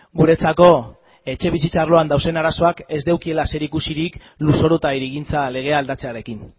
guretzako etxebizitza arloan dauden arazoak ez dutela zerikusirik lurzoru eta hirigintza legea aldatzearekin